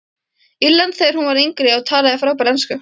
Írlandi þegar hún var yngri og talaði frábæra ensku.